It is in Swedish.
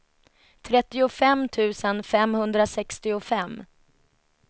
trettiofem tusen femhundrasextiofem